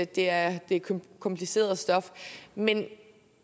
det er kompliceret stof men